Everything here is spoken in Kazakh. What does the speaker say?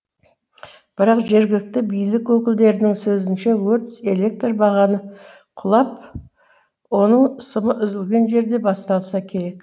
бірақ жергілікті билік өкілдерінің сөзінше өрт электр бағаны құлап оның сымы үзілген жерде басталса керек